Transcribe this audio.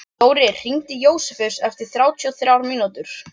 Þórir, hringdu í Jósefus eftir þrjátíu og þrjár mínútur.